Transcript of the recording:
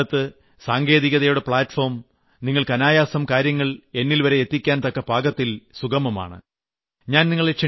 പിന്നെ ഇക്കാലത്ത് സാങ്കേതികതയുടെ പ്ലാറ്റ്ഫോം നിങ്ങൾക്ക് അനായാസം കാര്യങ്ങൾ എന്നിൽവരെ എത്തിക്കാൻ തക്ക പാകത്തിൽ സുഗമമാണ്